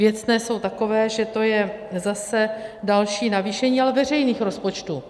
Věcné jsou takové, že to je zase další navýšení, ale veřejných rozpočtů.